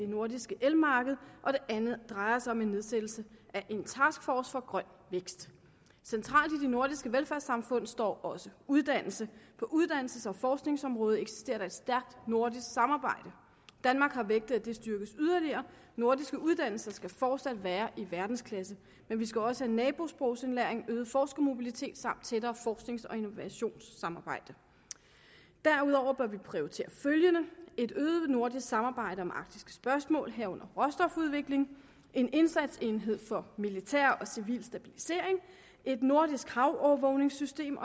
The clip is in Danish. nordiske elmarked og det andet drejer sig om en nedsættelse af en taskforce for grøn vækst centralt i de nordiske velfærdssamfund står også uddannelse på uddannelses og forskningsområdet eksisterer der et stærkt nordisk samarbejde danmark har vægtet at det styrkes yderligere nordiske uddannelser skal fortsat være i verdensklasse men vi skal også have nabosprogsindlæring øget forskermobilitet samt tættere forsknings og innovationssamarbejde derudover bør vi prioritere følgende et øget nordisk samarbejde om arktiske spørgsmål herunder råstofudvikling en indsatsenhed for militær og civil stabilisering et nordisk havovervågningssystem